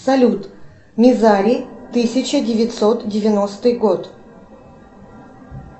салют мизари тысяча девятьсот девяностый год